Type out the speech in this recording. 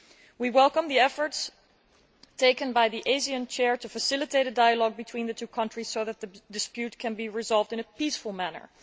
We welcome the efforts by the ASEAN chair to facilitate a dialogue between the two countries so that the dispute can be resolved in a peaceful manner.